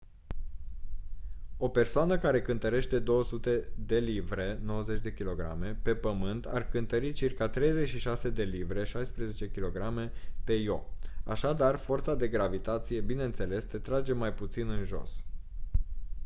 o persoană care cântărește 200 de livre 90 kg pe pământ ar cântări circa 36 de livre 16 kg pe io. așadar forța de gravitație bineînțeles te trage mai puțin în jos